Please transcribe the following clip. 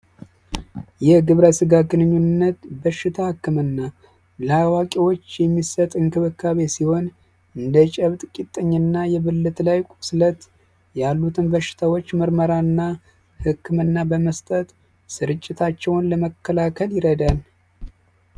የግብረ ስጋ ግንኙነት በሽታ ህክምና ለአዋቂወች የሚሰጥ እንክብካቤ ሲሆን እንደ ጨብጥ ጭጥኝ እና የብልት ላይ ቁስለት ያሉትን በሽታወች ምርመራ እና ህክምና በመስጠት ስርጭታቸዉን ለመከላከል ይረዳል።